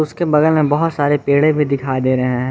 उसके बगल में बहोत सारे पेडे भी दिखाई दे रहे हैं।